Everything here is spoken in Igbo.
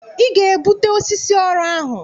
Ị ga-ebute osisi ọrụ ahụ!